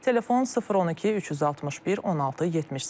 Telefon 012 361 16 78.